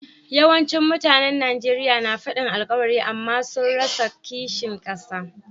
Yawancin mutanen Nijeriya na fadin alkawari amma sun rasa kishin kasa.